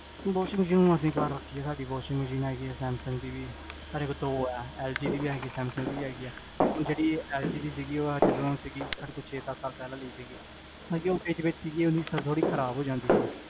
washing machine ਸਾਡੀ ਘਰ ਰਖੀ ਆ ਸਾਡੀ washing machine ਹੈਗੀ ਆ ਸੈਮਸੰਗ ਦੀ ਵੀ ਸਾਡੇ ਕੋਲ ਤਾ ਊ ਹੈ, ਐਲ ਜੀ ਦੀ ਵੀ ਹੈਗੀ, ਸੈਮਸੰਗ ਦੀ ਵੀ ਹੈਗੀ ਆ ਹੁਣ ਜੇਹੜੀ ਐਲ ਜੀ ਦੀ ਸੀਗੀ, ਓਹ ਜਿਦੋਂ ਸੀਗੀ ਸਾਡੇ ਕੋਲ ਛੇ ਸਤ ਸਾਲ ਪੇਹ੍ਲਾਂ